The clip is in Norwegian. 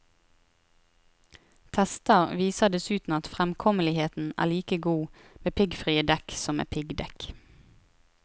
Tester viser dessuten at fremkommeligheten er like god med piggfrie dekk som med piggdekk.